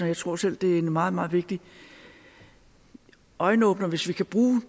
jeg tror selv det er en meget meget vigtig øjenåbner hvis vi kan bruge